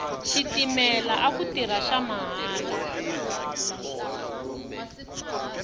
xitimela aku tirha xa malahla